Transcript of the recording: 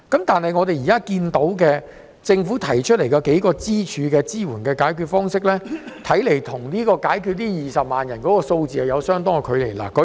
但是，政府提出的數個主要支援方式，似乎與解決20萬人的就業問題有相當的距離。